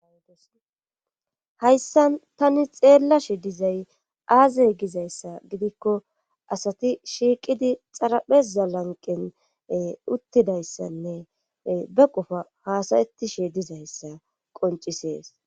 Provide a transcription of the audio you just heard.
Hayisani tani xeellashi dizay aazey gizayssa gidikko asati shiiqidi xarapheza lanqen uttidayssanne be qofa haasayettishe dizayssa qoncisees.